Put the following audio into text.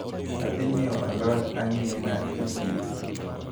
Adhi nyiewo alod ang`ina e chiro.